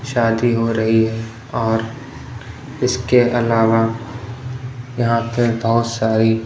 शादी हो रही है और इसके अलावा यहां पे बहोत सारी--